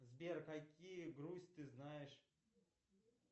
сбер какие грусть ты знаешь